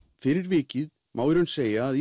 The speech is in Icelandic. fyrir vikið má í raun segja að